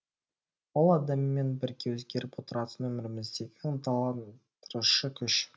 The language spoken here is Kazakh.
ол адаммен бірге өзгеріп отыратын өміріміздегі ынталандырушы күш